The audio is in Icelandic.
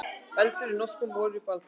Eldur í norskum olíuborpalli